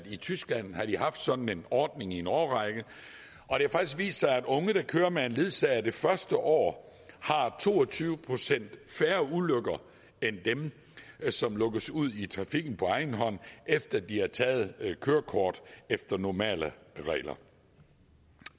i tyskland har haft sådan en ordning i en årrække og det faktisk har vist sig at unge der kører med en ledsager det første år har to og tyve procent færre ulykker end dem som lukkes ud i trafikken på egen hånd efter at de har taget kørekort efter normale regler